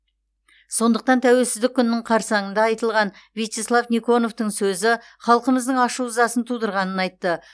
сондықтан тәуелсіздік күнінің қарсаңында айтылған вячеслав никоновтың сөзі халқымыздың ашу ызасын тудырғанын айтты